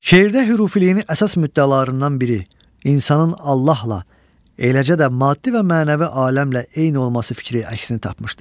Şeirdə hürifiliyinin əsas müddəalarından biri insanın Allahla, eləcə də maddi və mənəvi aləmlə eyni olması fikri əksini tapmışdır.